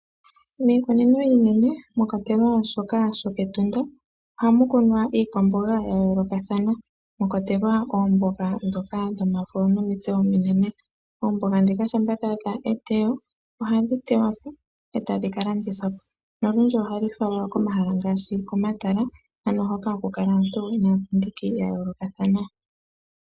Miikunino iinene mwa kwatelwa shoka shokEtunda ohamu kunwa iikwamboga ya yoolokathana, mwa kwatelwa oomboga ndhoka dhomafo nomitse omunene. Oomboga ndhika shampa dha adha eteyo ohadhi tewa mo e tadhi ka landithwa po nolundji ohadhi falwa komahala ngaashi komatala ano hoka haku kala aantu niipindi ya yookathana.